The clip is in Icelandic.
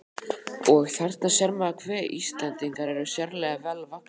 Og: Þarna sér maður, hve Íslendingar eru sérlega vel vaxnir.